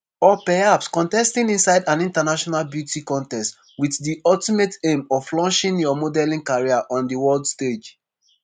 or perhaps contesting inside an international beauty contest with di ultimate aim of launching your modelling career on di world stage.